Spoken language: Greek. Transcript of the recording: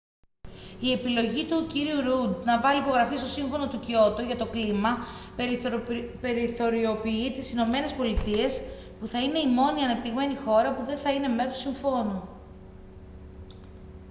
η επιλογή του κ ρουντ να βάλει υπογραφή στο σύμφωνο του κιότο για το κλίμα περιθωριοποιεί τις ηνωμένες πολιτείες που θα είναι η μόνη ανεπτυγμένη χώρα που δεν θα είναι μέρος του συμφώνου